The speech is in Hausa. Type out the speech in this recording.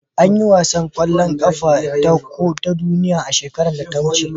an yi wasan kwallon kafa na kofin duniya shekaran da ta wuce